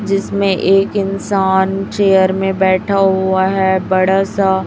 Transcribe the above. जिसमें एक इंसान चेयर में बैठा हुआ है बड़ा सा--